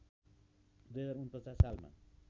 २०४९ सालमा